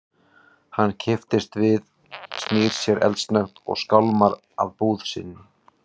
Hann kippist við, snýr sér eldsnöggt og skálmar að búð sinni.